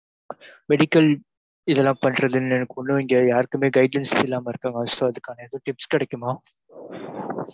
medical இதுயெல்லாம் பண்றதுனு குலவேண்டியது யாருகுமே guidelines இல்லாம இருகாங்க, so அதுக்கான எதும் tips கிடைக்குமா?